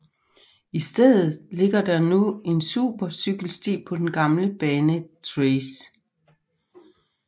I stedet ligger der nu en supercykelsti på den gamle banetracé